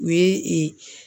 U ye .